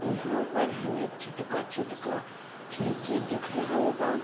इहां पर हमे छोटका-छोटका खिड़की दिख रहल बा।